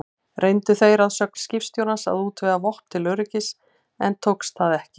Reyndu þeir að sögn skipstjórans að útvega vopn til öryggis, en tókst það ekki.